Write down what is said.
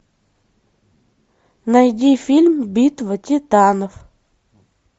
найди фильм битва титанов